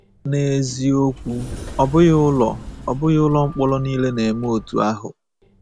N’eziokwu, ọ bụghị ụlọ ọ bụghị ụlọ mkpọrọ nile na-eme otú ahụ.